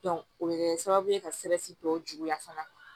o bɛ kɛ sababu ye ka tɔw juguya fana